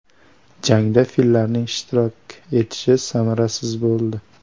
Jangda fillarning ishtirok etishi samarasiz bo‘ldi.